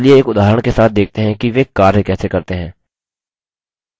अतः चलिए एक उदाहरण के साथ देखते हैं कि वे कार्य कैसे करते हैं